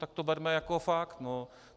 Tak to berme jako fakt.